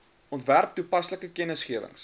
ontwerp toepaslike kennisgewings